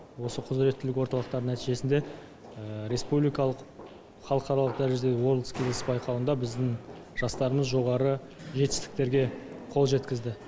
осы құзіреттілік орталықтар нәтижесінде республикалық халықаралық дәрежедегі ворлд скиллз байқауында біздің жастарымыз жоғары жетістіктерге қол жеткізді